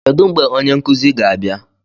Kedu mgbe onye nkuzi ga-abịa?